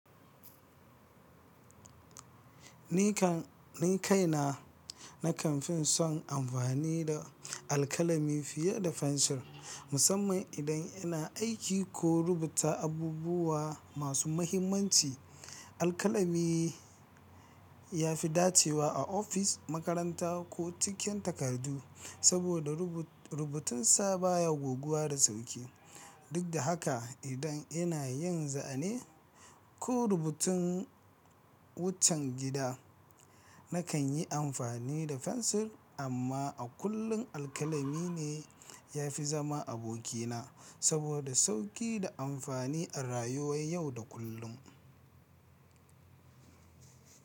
Ni kan ni kai na na kamfin son amfani da alkalami fiye da fensir, musamman idan ina aiki ko rubuta abubuwa masu mahimmanci. Alkalami ya fi dacewa a ofis, makaranta ko cikin takardu saboda rubutunsa baya goguwa da sauƙi. Duk da haka, idan ina yin zane ko rubutun wucen gida, na kan yi amfani da fensir. Amma a kullum alkalami ne ya fi zama abokina saboda sauƙi da amfani a rayuwar yau da kullum.